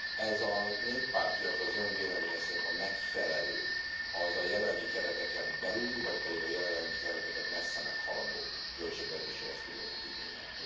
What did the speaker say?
Ez a Néppárt, illetve az Ön véleménye szerint a megfelelő a jelenlegi kereteken belüli, vagy pedig a jelenlegi kereteket messze meghaladó költségvetési eszközöket igényel?